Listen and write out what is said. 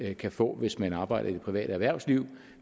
kan få hvis man arbejder i det private erhvervsliv